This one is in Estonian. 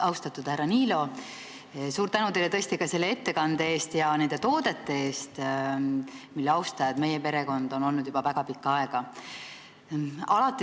Austatud härra Niilo, suur tänu teile selle ettekande eest ja ka nende toodete eest, mille austaja on meie perekond olnud juba väga pikka aega!